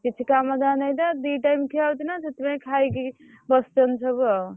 କିଛି କାମ ଧାମ ନାଇ ତ ଦି time ଖିଆ ହଉଛି ତ ସେଇଥୀ ପାଇଁ ଖାଇକି ବସିଛନ୍ତି ସବୁ ଆଉ।